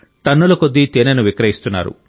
టన్నులకొద్ది తేనెను విక్రయిస్తున్నారు